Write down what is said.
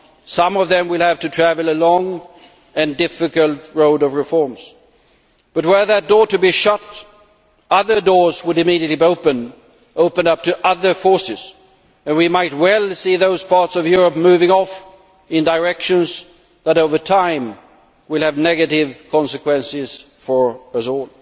Some of them will have to travel a long and difficult road of reforms, but, were that door to be shut, other doors would immediately open up to other forces, and we might well see those parts of Europe moving off in directions which, over time, will have negative consequences for us all.